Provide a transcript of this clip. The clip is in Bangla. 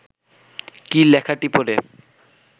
কী লেখাটি পড়ে